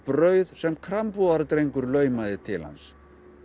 brauð sem laumaði til hans